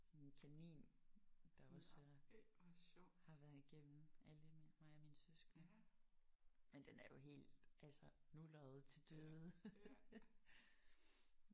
Sådan en kanin der også øh har været igennem alle mine mig og mine søskende. Men den er jo helt altså nulret til døde